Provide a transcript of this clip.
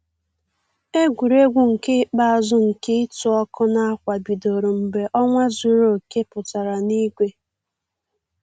Egwuregwu nke ikpeazụ nke ịtụ ọkụ ákwà bidoro mgbe ọnwa zuru oke pụtara n'igwe